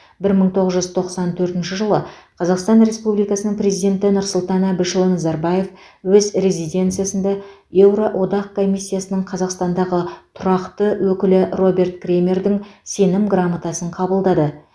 бір мың тоғыз жүз тоқсан төртінші жылы қазақстан республикасының президенті нұрсұлтан әбішұлы назарбаев өз резиденциясында еуроодақ комиссиясының қазақстандағы тұрақты өкілі роберт кремердің сенім грамотасын қабылдады